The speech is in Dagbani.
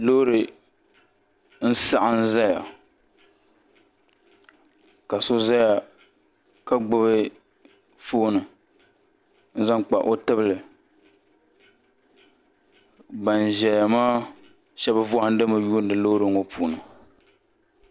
loori n saɣam ʒɛya ka so ʒɛya ka gbubi foon n zaŋ kpa o tibili ban ʒɛya maa shab vahandimi lihiri loori ŋɔ puuni